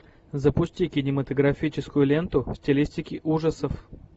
запусти кинематографическую ленту в стилистике ужасов